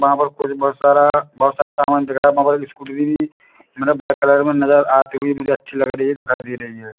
बहा पर कुछ बहुत सारा बहुत सारा सामान दिख रहा मोबाइल स्कूटी मने ब्लैक कलर में नजर आती हुई मुझे अच्छी लग रही दिखाई दे रही है।